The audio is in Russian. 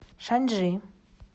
шанчжи